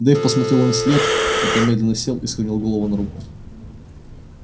дейв посмотрел им вслед потом медленно сел и склонил голову на руку